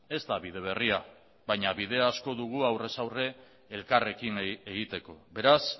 ez da bide berria baina bide asko dugu aurrez aurre elkarrekin egiteko beraz